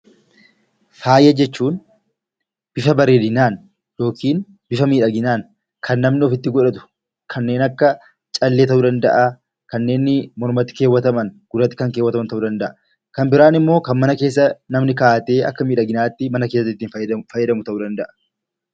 Faaya jechuun bifa bareedinaan yookiin miidhaginaan kan namni ofitti godhatu kanneen akka callee, kanneen gurraattii kaawwataman, kanneen mormatti kaawwataman ta'uu danda'a. Kanneen bira immoo kan namni mana keessa kaawwatee itti fayyadamu ta'uu danda'a.